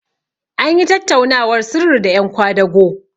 an yi tattaunawar sirri da yan kwadago